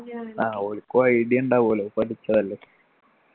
ആ ഓല്ക്കും idea ഉണ്ടാവുഅല്ലോ പഠിച്ചതല്ലേ